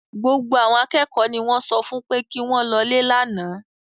Gbogbo àwọn akẹ́kọ̀ọ́ ni wọ́n sọ fún pé kí wọ́n lọlé lánàá